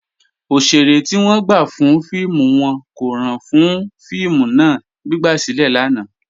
Ọṣẹ̀rẹ̀ ti wọn gbà fún fíìmù wọn kò ràn fún fíìmù náà, gbigbasilẹ̀ lánà.